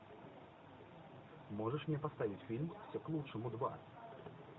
можешь мне поставить фильм все к лучшему два